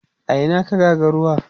a Ina ka ga ga ruwa?